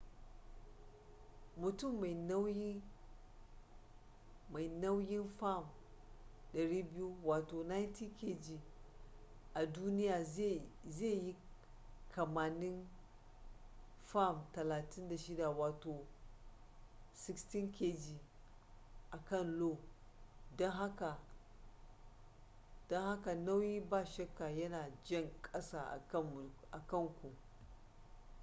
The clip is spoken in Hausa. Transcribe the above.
mutum mai nauyin fam 200 90kg a duniya zai yi kimanin fam 36 16kg a kan io. don haka nauyi ba shakka yana jan ƙasa akan ku